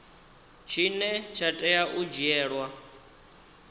tshine tsha tea u dzhielwa